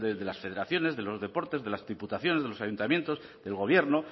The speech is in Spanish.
de las federaciones de los deportes de las diputaciones de los ayuntamientos del gobierno